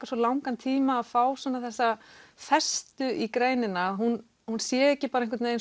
svo langan tíma að fá þessa festu í greinina hún hún sé ekki bara